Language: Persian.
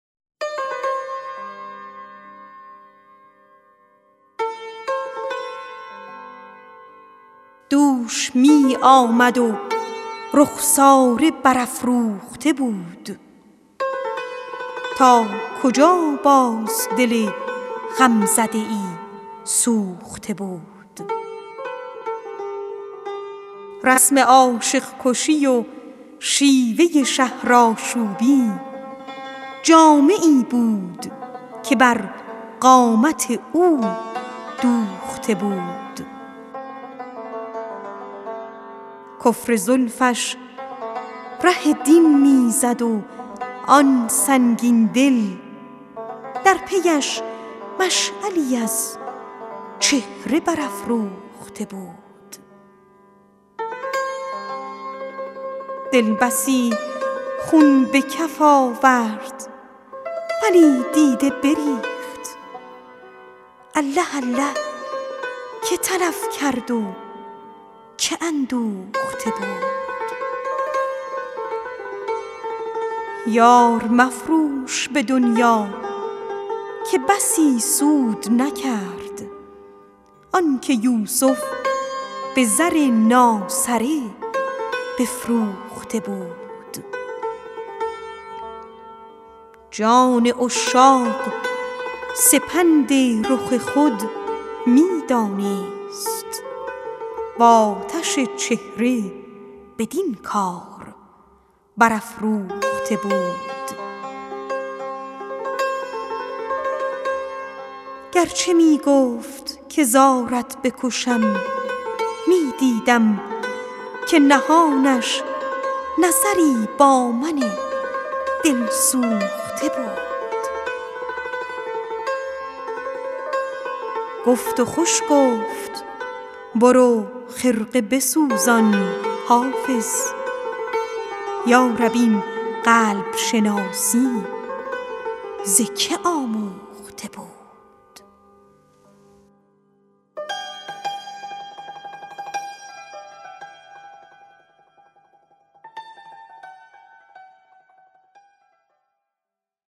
دوش می آمد و رخساره برافروخته بود تا کجا باز دل غمزده ای سوخته بود رسم عاشق کشی و شیوه شهرآشوبی جامه ای بود که بر قامت او دوخته بود جان عشاق سپند رخ خود می دانست و آتش چهره بدین کار برافروخته بود گر چه می گفت که زارت بکشم می دیدم که نهانش نظری با من دلسوخته بود کفر زلفش ره دین می زد و آن سنگین دل در پی اش مشعلی از چهره برافروخته بود دل بسی خون به کف آورد ولی دیده بریخت الله الله که تلف کرد و که اندوخته بود یار مفروش به دنیا که بسی سود نکرد آن که یوسف به زر ناسره بفروخته بود گفت و خوش گفت برو خرقه بسوزان حافظ یا رب این قلب شناسی ز که آموخته بود